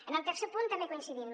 amb el tercer punt també hi coincidim